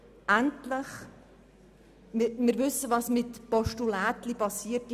Wir wissen, was mit «Postulätchen» geschieht: